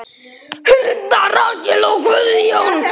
Hulda, Rakel og Guðjón.